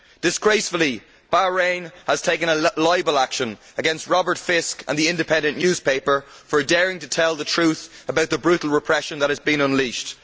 Disgracefully, Bahrain has taken a libel action against Robert Fisk and The Independent newspaper for daring to tell the truth about the brutal repression that has been unleashed.